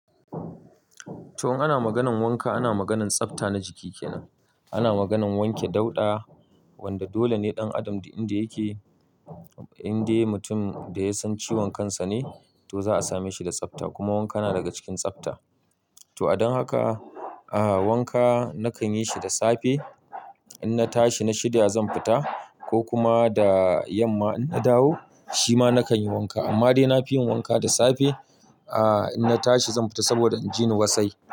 To, ana maganan wanka, ana maganan tsafta na jiki kenan. Ana maganan wanke dauda, wanda dole ne ɗan adam inda yake, inda mutum da ya san ciwon kansa ne to za a same shi da tsafta. Kuma wanka na daga cikin tsafta. To, don haka, aa wanka nakan yi shi da safe in na tashi na shirya zan fita ko kuma da yamma in na dawo, shi ma nakan yi wanka. Amma dai na fi yin wanka da safe aa in na tashi zan fita saboda inji ni wasai.